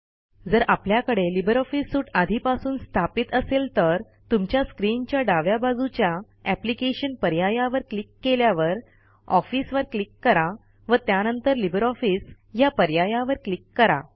जर आपल्याकडे LibreOffice suite आधीपासून स्थापित असेल तर तुमच्या स्क्रीन च्या डाव्या बाजूच्या एप्लिकेशन पर्यायावर क्लिक केल्यावर ऑफिस वर क्लिक करा व त्यानंतर लिब्रे ऑफिस ह्या पर्यायावर क्लिक करा